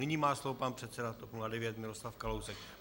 Nyní má slovo pan předseda TOP 09 Miroslav Kalousek.